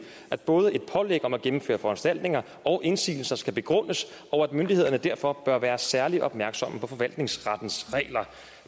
at både et pålæg om at gennemføre foranstaltninger og indsigelser skal begrundes og at myndighederne derfor bør være særlig opmærksom på forvaltningsrettens regler